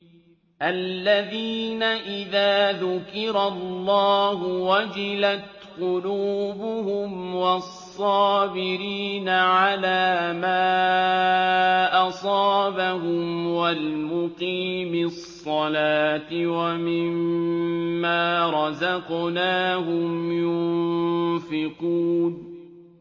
الَّذِينَ إِذَا ذُكِرَ اللَّهُ وَجِلَتْ قُلُوبُهُمْ وَالصَّابِرِينَ عَلَىٰ مَا أَصَابَهُمْ وَالْمُقِيمِي الصَّلَاةِ وَمِمَّا رَزَقْنَاهُمْ يُنفِقُونَ